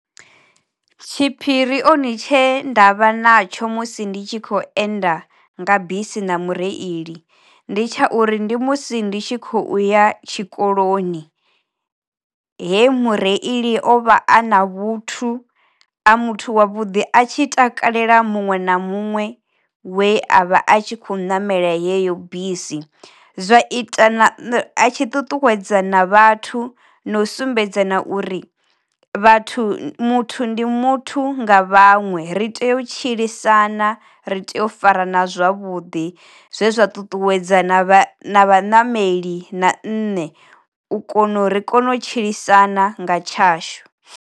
Tshiphiri oni tshe ndavha na tsho musi ndi tshi kho enda nga bisi na mureili ndi tsha uri ndi musi ndi tshi khou ya tshikoloni he mureili o vha a na vhuthu, a muthu wa vhuḓi a tshi takalela muṅwe na muṅwe we a vha a tshi khou namela yeyo bisi. Zwa ita a tshi tutuwedzana vhathu no sumbedzana uri vhathu muthu ndi muthu nga vhaṅwe ri tea u tshilisana ri tea u fara na zwavhuḓi zwezwa ṱuṱuwedza na vhanameli na nṋe u kona u ri kone u tshilisana nga tshashu.